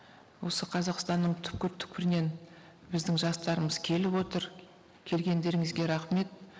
осы қазақстанның түпкір түпкірінен біздің жастарымыз келіп отыр келгендеріңізге рахмет